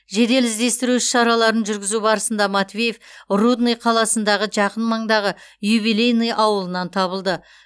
жедел іздестіру іс шараларын жүргізу барысында матвеев рудный қаласындағы жақын маңдағы юбилейный ауылынан табылды